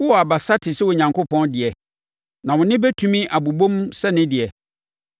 Wowɔ abasa te sɛ Onyankopɔn deɛ, na wo nne bɛtumi abobom sɛ ne deɛ?